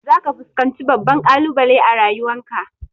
Za ka fuskanci babban ƙalubale a rayuwan ka